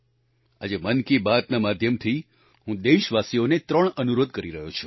આજે મન કી બાત ના માધ્યમથી હું દેશવાસીઓને 3 અનુરોધ કરી રહ્યો છું